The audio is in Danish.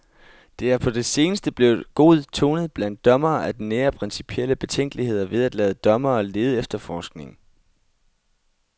Det er på det seneste blevet god tone blandt dommere at nære principielle betænkeligheder ved at lade dommere lede efterforskning.